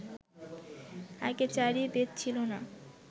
আগে চারি বেদ ছিল না